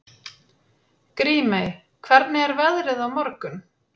Grímey, hvernig er veðrið á morgun?